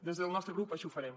des del nostre grup així ho farem